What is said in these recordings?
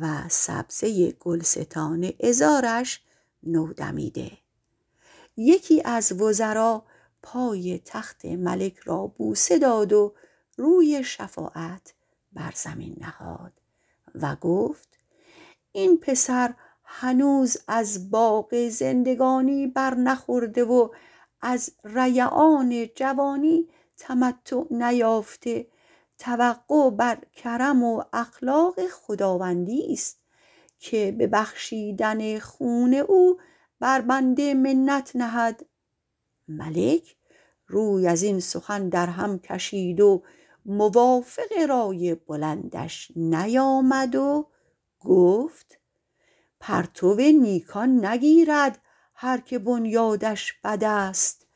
و سبزه گلستان عذارش نودمیده یکی از وزرا پای تخت ملک را بوسه داد و روی شفاعت بر زمین نهاد و گفت این پسر هنوز از باغ زندگانی بر نخورده و از ریعان جوانی تمتع نیافته توقع به کرم و اخلاق خداوندی ست که به بخشیدن خون او بر بنده منت نهد ملک روی از این سخن در هم کشید و موافق رای بلندش نیامد و گفت پرتو نیکان نگیرد هر که بنیادش بد است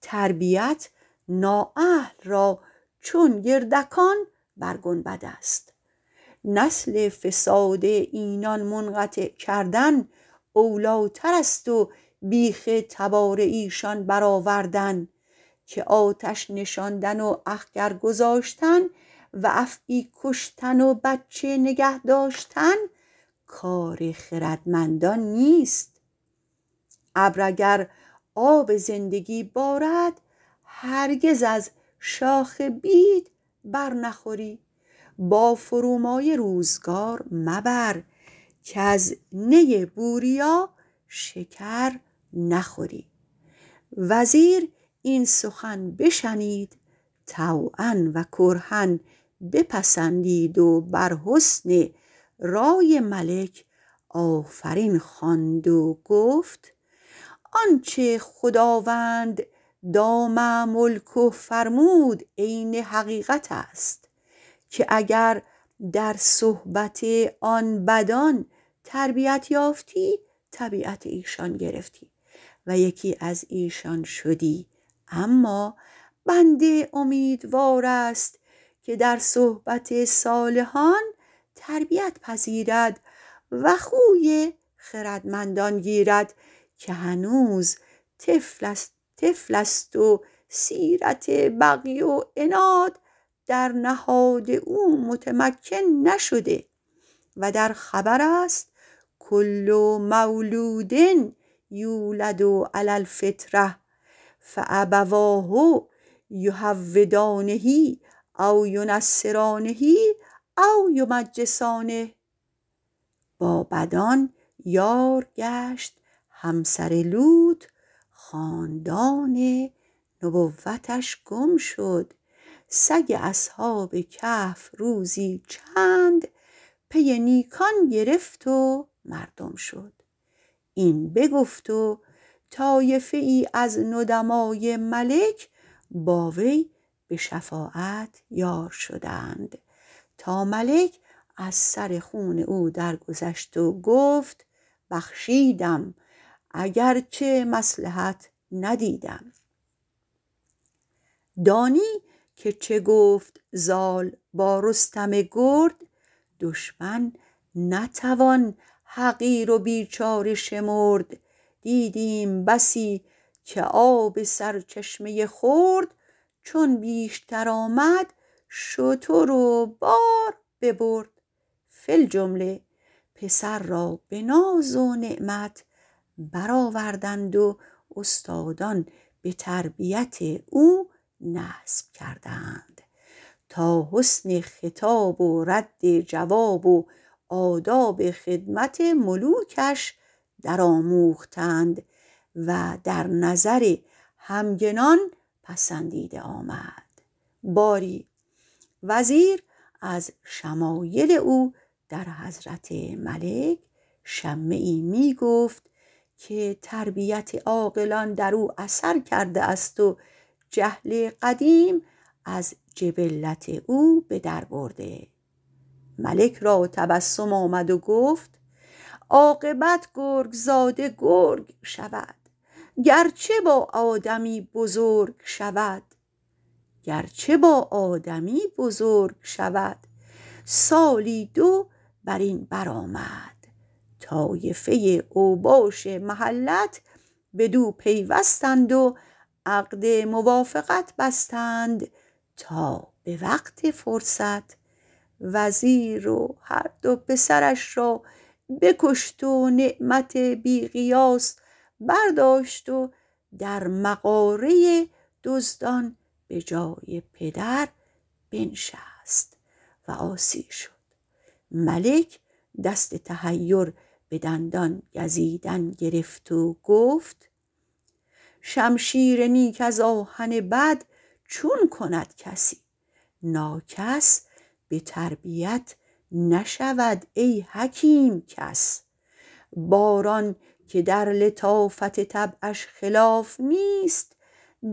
تربیت نااهل را چون گردکان بر گنبد است نسل فساد اینان منقطع کردن اولی تر است و بیخ تبار ایشان بر آوردن که آتش نشاندن و اخگر گذاشتن و افعی کشتن و بچه نگه داشتن کار خردمندان نیست ابر اگر آب زندگی بارد هرگز از شاخ بید بر نخوری با فرومایه روزگار مبر کز نی بوریا شکر نخوری وزیر این سخن بشنید طوعا و کرها بپسندید و بر حسن رای ملک آفرین خواند و گفت آنچه خداوند دام ملکه فرمود عین حقیقت است که اگر در صحبت آن بدان تربیت یافتی طبیعت ایشان گرفتی و یکی از ایشان شدی اما بنده امیدوار است که در صحبت صالحان تربیت پذیرد و خوی خردمندان گیرد که هنوز طفل است و سیرت بغی و عناد در نهاد او متمکن نشده و در خبر است کل مولود یولد علی الفطرة فأبواه یهودانه و ینصرانه و یمجسانه با بدان یار گشت همسر لوط خاندان نبوتش گم شد سگ اصحاب کهف روزی چند پی نیکان گرفت و مردم شد این بگفت و طایفه ای از ندمای ملک با وی به شفاعت یار شدند تا ملک از سر خون او درگذشت و گفت بخشیدم اگرچه مصلحت ندیدم دانی که چه گفت زال با رستم گرد دشمن نتوان حقیر و بیچاره شمرد دیدیم بسی که آب سرچشمه خرد چون بیشتر آمد شتر و بار ببرد فی الجمله پسر را به ناز و نعمت بر آوردند و استادان به تربیت او نصب کردند تا حسن خطاب و رد جواب و آداب خدمت ملوکش در آموختند و در نظر همگنان پسندیده آمد باری وزیر از شمایل او در حضرت ملک شمه ای می گفت که تربیت عاقلان در او اثر کرده است و جهل قدیم از جبلت او به در برده ملک را تبسم آمد و گفت عاقبت گرگ زاده گرگ شود گرچه با آدمی بزرگ شود سالی دو بر این بر آمد طایفه اوباش محلت بدو پیوستند و عقد موافقت بستند تا به وقت فرصت وزیر و هر دو پسرش را بکشت و نعمت بی قیاس برداشت و در مغاره دزدان به جای پدر بنشست و عاصی شد ملک دست تحیر به دندان گزیدن گرفت و گفت شمشیر نیک از آهن بد چون کند کسی ناکس به تربیت نشود ای حکیم کس باران که در لطافت طبعش خلاف نیست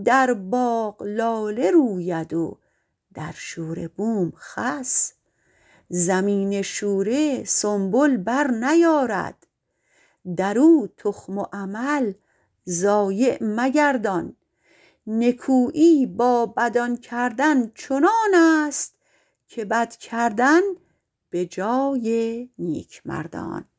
در باغ لاله روید و در شوره بوم خس زمین شوره سنبل بر نیارد در او تخم و عمل ضایع مگردان نکویی با بدان کردن چنان است که بد کردن به جای نیک مردان